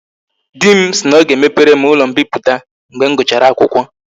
Di m si na o ga emepere m ulo mpiputa and mbiputa mgbe m guchara akwukwo